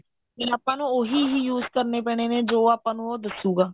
ਨਹੀਂ ਆਪਾਂ ਨੂੰ ਉਹੀ use ਕਰਨੇ ਪੈਣੇ ਨੇ ਜੋ ਆਪਾਂ ਨੂੰ ਦੱਸੂਗਾ